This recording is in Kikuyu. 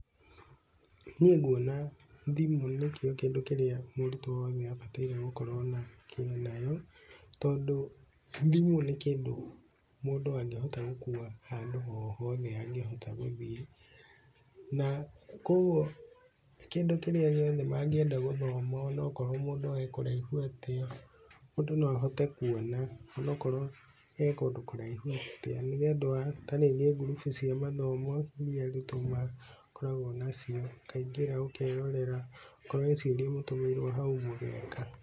Niĩ nguona thimũ nĩkio kindũ kĩrĩa mũrutwo wothe abataire gũkorwo nayo, tondũ thimũ nĩ kĩndũ mũndũ angĩhota gũkua handũ hothe angĩhota gũthiĩ. Na koguo kĩndũ kĩrĩa gĩothe mangienda gũthoma onakorwo mũndũ arĩ kũraihu atĩa mũndũ no ahote kuona ũnakorwo e kũndũ kũraihu atĩa. Nĩ ũndũ wa tarĩngĩ ngurubu cia mathomo iria arutwo makoragwo nacio ũkaingĩra ũkerorera, akorwo he ciũria ũgũtũmĩirwo hau mũgeka.